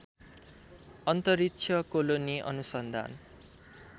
अन्तरिक्ष कोलोनी अनुसन्धान